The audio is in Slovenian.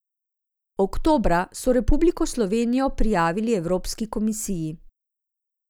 Oktobra so Republiko Slovenijo prijavili evropski komisiji.